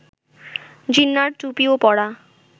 জিন্নাহর টুপিও পরা